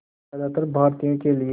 ज़्यादातर भारतीयों के लिए